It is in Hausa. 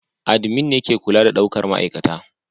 admin ne ke kula da daukar ma'aikata